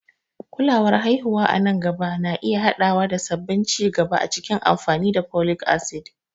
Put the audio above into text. Kulawar haihuwa a nan gaba na iya haɗawa da sabbin ci gaba a cikin amfani da folic acid.